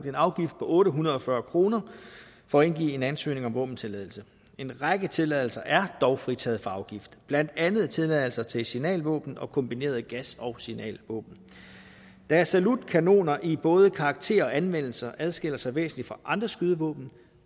en afgift på otte hundrede og fyrre kroner for at indgive en ansøgning om våbentilladelse en række tilladelser er dog fritaget for afgiften blandt andet tilladelse til signalvåben og kombineret gas og signalvåben da salutkanoner i både karakter og anvendelse adskiller sig væsentligt fra andre skydevåben